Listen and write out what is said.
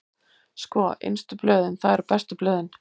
Sko, innstu blöðin, það eru bestu blöðin.